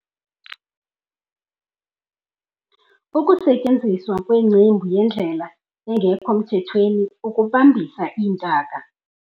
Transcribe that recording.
Ukusetyenziswa kwencembu yindlela engekho mthethweni ukubambisa iintaka.